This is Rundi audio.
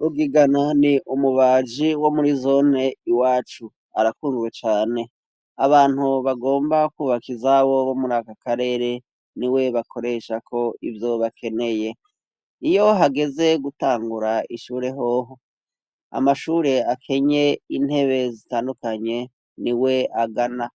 Rugigana ni umubaji wo muri zone iwacu ,arakundwe cane abantu bagomba kubaka izabo bo muri akakarere ni we bakoresha ko ivyo bakeneye, iyo hageze gutangura ishure hoho, amashure akenye intebe zitandukanye ni we agana